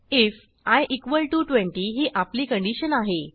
if I 20 ही आपली condition आहे